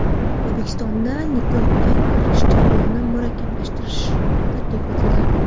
O‘zbekistonda nikohga kirish jarayonini murakkablashtirish taklif etildi.